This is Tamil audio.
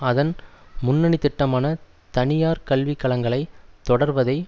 அதன் முன்னணி திட்டமான தனியார் கல்விக்கழகங்களை தொடர்வதை